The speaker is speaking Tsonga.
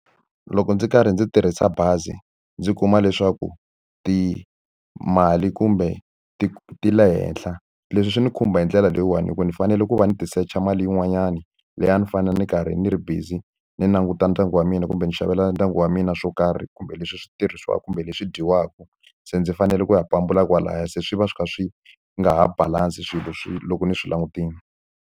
Loko ndzi karhi ndzi tirhisa bazi ndzi kuma leswaku timali kumbe ti ti le henhla, leswi swi ndzi khumba hi ndlela leyiwani hikuva ndzi fanele ku va ni tisecha mali yin'wanyani leyi a ni fanele ni karhi ni ri busy ni languta ndyangu wa mina kumbe ndzi xavela ndyangu wa mina swo karhi kumbe leswi swi tirhisiwaka kumbe leswi dyiwaka. Se ndzi fanele ku ya pambula kwalahaya, se swi va swi kha swi nga ha balance-i swilo swi loko ni swi langutile.